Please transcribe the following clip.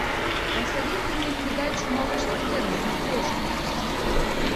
посоветуй мне передачу малыш тв на смотрешке